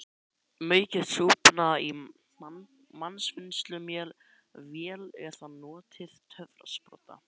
Maukið súpuna í matvinnsluvél eða notið töfrasprota.